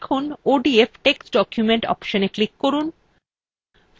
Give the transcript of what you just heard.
এখন odf text document অপশনএ click করুন